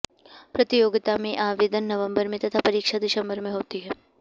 प्रतियोगिता में आवेदन नबम्बर में तथा परीक्षा दिसम्बर में होती है